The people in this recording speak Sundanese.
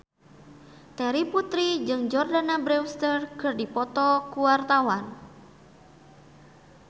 Terry Putri jeung Jordana Brewster keur dipoto ku wartawan